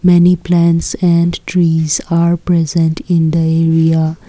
many plants and trees are present in the area.